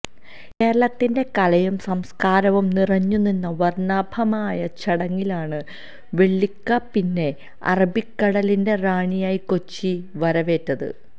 കേരളത്തിന്റെ കലയും സംസ്കാരവും നിറഞ്ഞുനിന്ന വര്ണാഭമായ ചടങ്ങിലാണ് വെള്ളിക്കപ്പിനെ അറബിക്കടലിന്റെ റാണിയായ കൊച്ചി വരവേറ്റത്